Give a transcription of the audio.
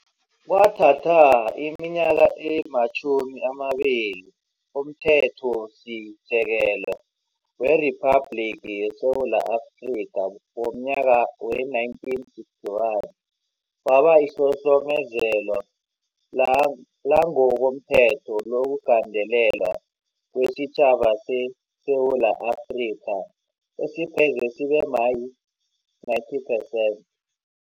Kwathatha iminyaka ematjhumi amabili umThethosi sekelo weRiphabhligi ye Sewula Afrika womnyaka we-1961 waba lihlohlomezelo lang langokomthetho lokugandelelwa kwesitjhaba seSewula Afrika esipheze sibe ma-90 perccent.